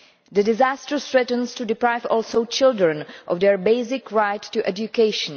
The disaster also threatens to deprive children of their basic right to education.